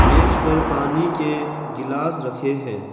मेज पर पानी के गिलास रखे हैं।